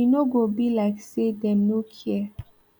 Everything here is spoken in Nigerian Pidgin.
e no go be like say dem no care